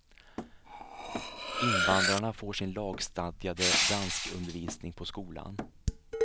Invandrarna får sin lagstadgade danskundervisning på skolan.